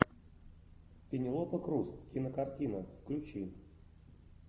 пенелопа крус кинокартина включи